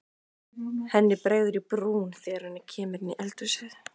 Henni bregður í brún þegar hún kemur inn í eldhúsið.